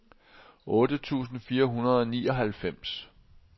otte tusind fire hundrede og nioghalvfems